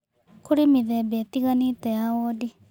Kũrĩ mĩthemba ĩtiganĩte ya wondi